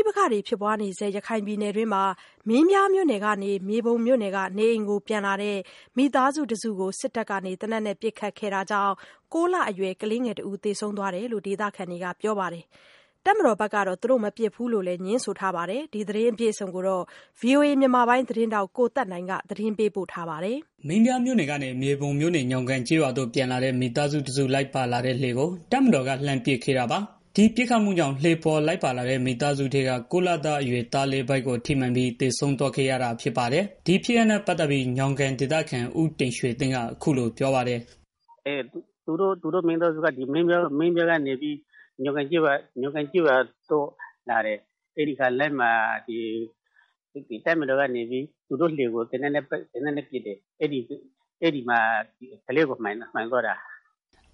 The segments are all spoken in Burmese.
ိပက္ခတွေ ဖြစ်ပွားနေဆဲ ရခိုင်ပြည်နယ်တွင်းမှာ မင်းပြားမြို့နယ်ကနေ မြေပုံမြို့နယ်က နေအိမ်ကို ပြန်လာတဲ့ မိသားစုတစုကို စစ်တပ်က သေနတ်နဲ့ပစ်ခတ်ခဲ့တာကြောင့် ၉ လအရွယ် ကလေး သေဆုံးသွားတယ်လို့ ဒေသခံတွေက ပြောပါတယ်။ တပ်မတော်ဘက်ကတော့ သူတို့မပစ်ဘူးလို့ ငြင်းဆိုထားပါတယ်။ အပြည့်အစုံကို ဗွီအိုအေ မြန်မာပိုင်းသတင်းထောက် ကိုသက်နိုင် တင်ပြပေးထားပါတယ်။ မင်းပြားမြို့နယ်ကနေ မြေပုံမြို့နယ် ညောင်ကန်ကျေးရွာကို ပြန်လာတဲ့ မိသားစုတစု လိုက်ပါလာတဲ့ လှေကို တပ်မတော်က လှမ်းပစ်ခတ်ခဲ့တာပါ။ ဒီပစ်ခတ်မှုကြောင့် လှေပေါ်လိုက်ပါလာတဲ့ မိသားစုထဲက ၉ လအရွယ်သားလေး ဗိုက်ကိုထိမှန်ပြီး သေဆုံးသွားခဲ့ရတာ ဖြစ်ပါတယ်။ ဒီဖြစ်ရပ်နဲ့ ပတ်သက်ပြီး ညောင်ကန်ဒေသခံ ဦးတင်ရွှေသိန်းက အခုလို ပြောပါတယ်။ “သူတို့မိသားစုက မင်းပြားမြို့နယ်ကနေပြီးတော့ ညောင်ကန်ကျေးရွာကို လာတာ။ လမ်းမှာ သူတို့စီးလာတဲ့ လှေကို တပ်မတော်သားတွေက သေနတ်နဲ့ပစ်တယ်။ အဲဒီမှာ ကလေးကို ထိသွားတာ။”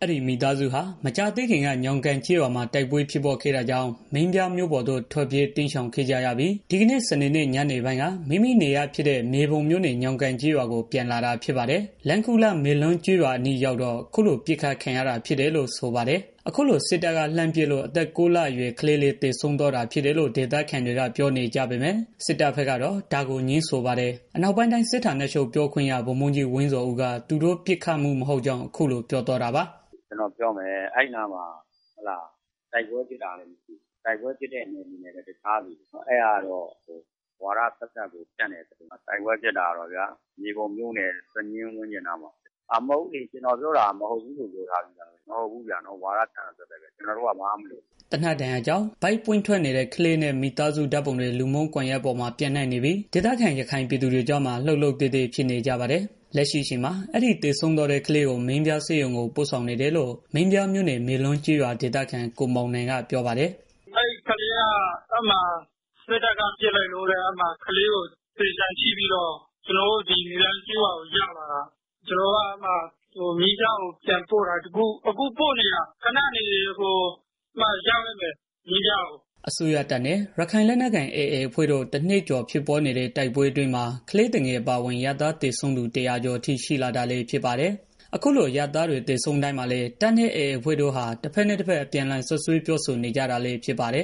အဲဒီမိသားစုဟာ မကြာသေးခင်က ညောင်ကန်ကျေးရွာမှာ တိုက်ပွဲဖြစ်ပွားခဲ့တာကြောင့် မင်းပြားမြို့ပေါ်ကို ထွက်ပြေးတိမ်းရှောင်ခဲ့ကြပြီး ဒီကနေ့ စနေညနေပိုင်းက မိမိနေရပ်ဖြစ်တဲ့ မြေပုံမြို့နယ် ညောင်ကန်ကျေးရွာကို ပြန်လာတာဖြစ်ပါတယ်။ လမ်းခုလတ် မေလွန်းကျေးရွာအနီးရောက်တော့ အခုလို ပစ်ခတ်ခံရတာ ဖြစ်တယ်လို့ ဆိုပါတယ်။ အခုလို စစ်တပ်က လှမ်းပစ်လို့ အသက် ၉ လအရွယ် ကလေး သေဆုံးသွားတာဖြစ်တယ်လို့ ဒေသခံတွေက ပြောနေကြပေမယ့် စစ်တပ်ဘက်ကတော့ ဒါကို ငြင်းဆိုပါတယ်။ အနောက်ပိုင်းတိုင်းစစ်ဌာနချုပ် ပြောခွင့်ရ ဗိုလ်မှူးကြီး ဝင်းဇော်ဦးက သူတို့ပစ်ခတ်မှု မဟုတ်ကြောင်း အခုလို ပြောပါတယ်။ “ကျနော်ပြောမယ် အဲဒီနားမှာ တိုက်ပွဲဖြစ်တာလည်း မရှိဘူး။ တိုက်ပွဲဖြစ်တဲ့ နယ်မြေနဲ့လည်း တခြားစီ၊ အဲဒါကတော့ ဝါဒသက်သက်ကို ဖြန့်တဲ့သတင်းဗျာ။ တိုက်ပွဲဖြစ်တာကတော့ မြေပုံမြို့နယ် စညင်းကျေးရွာဝန်းကျင်နားမှာပဲ ရှိတယ်။ ကျနော်ပြောတာ မဟုတ်ဘူးပြောတာ။ ဝါဒဖြန့်တာသက်သက်ပဲ၊ ကျနော်တို့က ဘာမှမလုပ်ဘူး။” သေနတ်ဒဏ်ရာကြောင့် ဗိုက်ပွင့်ထွက်နေတဲ့ ကလေးနဲ့ မိသားစုဓာတ်ပုံတွေ လူမှုကွန်ရက်ပေါ်မှာ ပျံ့နှံ့နေပြီး ဒေသခံ ရခိုင်ပြည်သူတွေကြားမှာ လှုပ်လှုပ်သဲသဲ ဖြစ်နေကြပါတယ်။ လက်ရှိအချိန်မှာ အဲဒီ သေဆုံးသွားတဲ့ ကလေးကို မင်းပြားဆေးရုံကို ပို့ဆောင်နေတယ်လို့ မင်းပြားမြို့နယ် မေလွန်းကျေးရွာ ဒေသခံ ကိုမောင်နိုင်က ပြောပါတယ်။ “အဲဒီကလေးကို စစ်တပ်က ပစ်လိုက်လို့ ဆိုပြီးတော့ ကျနော်တို့ မေလွန်းကျေးရွာကို ရောက်လာတာ။ အဲဒီကလေးကို ကျနော်တို့က မင်းပြားမြို့နယ်ဆေးရုံကို ပြန်ပို့နေတာ၊ အခုပို့နေပြီ ရောက်တော့မယ်။” အစိုးရတပ်နဲ့ ရခိုင်လက်နက်ကိုင် AA တပ်ဖွဲ့တို့ တနှစ်ကျော် ဖြစ်ပွားနေတဲ့ တိုက်ပွဲအတွင်းမှာ ကလေးသူငယ် အပါအဝင် အရပ်သား သေဆုံးတာ ၁၀၀ ကျော်အထိ ရှိလာတာလည်း ဖြစ်ပါတယ်။ အခုလို အရပ်သားတွေ သေဆုံးတိုင်းမှာလည်း တပ်နဲ့ AA အဖွဲ့တို့ဟာ တဖက်နဲ့တဖက် အပြန်အလှန် စွပ်စွဲပြောဆိုနေကြတာလည်း ဖြစ်ပါတယ်